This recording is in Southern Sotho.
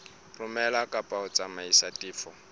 romela kapa ho tsamaisa tefo